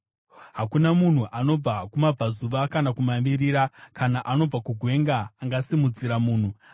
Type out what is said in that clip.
Hakuna munhu anobva kumabvazuva kana kumavirira, kana anobva kugwenga angasimudzira munhu.